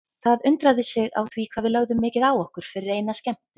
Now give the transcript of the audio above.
Það undraði sig á því hvað við lögðum mikið á okkur fyrir eina skemmtun.